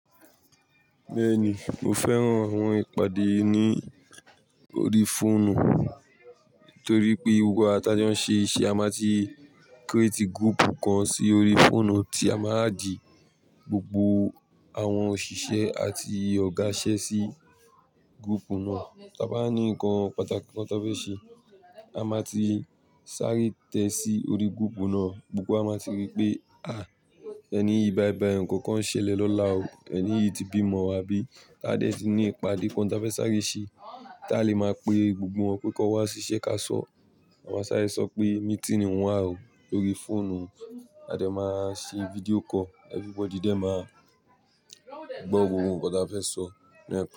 Bẹ́ẹ̀ ni, mo fẹ́ràn àwọn ìpàdé ní orí fóònù. Nítorí pé gbogbo àwà tà ń jó ṣe iṣẹ́ a máa ti kírétì gúúpu kan sí orí fóònù tí a máa á dì gbogbo àwọn òṣìṣẹ́ àti ọ̀gá iṣe sí gúúpu náà. Taa bá ní nǹkan pàtàkì kan tá fẹ́ ṣe, a máa ti sáré tẹ sí orí gúúpu náà gbogbo. A máa ti rí pé, "à, ẹni yìí báìbàì, ǹkan kan ṣẹlẹ̀ lọ́la o, ẹni yìí ti bímọ" àbí ká dẹ̀ ti ní ìpàdé kan tí a fẹ́ sáré ṣe, tí a lè máa pe gbogbo wọn pé kó wá sí iṣẹ́ ká sọ̀. A máa sáré sọ pé míítì nìun wà o lórí fóònù. A dẹ̀ máa ṣe fídíò kọ́ọ̀, everybody dẹ̀ máa gbọ́ gbogbo ohùn tí a fẹ́ sọ ní ẹkùn.